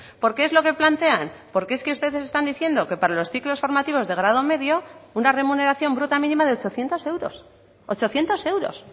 porque es lo que plantean porque es que ustedes están diciendo que para los ciclos formativos de grado medio una remuneración bruta mínima de ochocientos euros ochocientos euros